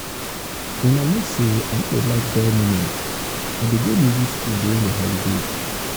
una know say say i no dey um like dull moment i dey go music school during the holiday.